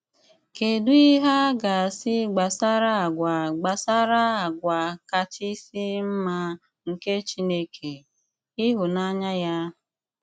Kèdù ìhè a ga-àsị gbasàrà àgwà́ gbasàrà àgwà́ kàchị̀sì mma nke Chìnèké, ìhụ̀nànyà ya?